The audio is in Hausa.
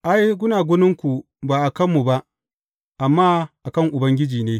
Ai, gunaguninku ba a kanmu ba, amma a kan Ubangiji ne.